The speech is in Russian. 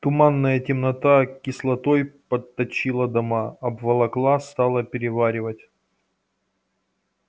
туманная темнота кислотой подточила дома обволокла стала переваривать